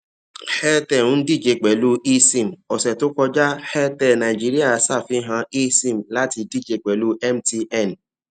airtel ń dije pẹlú esim ọsẹ tó kọjá airtel nigeria ṣafihan esim láti dije pẹlú mtn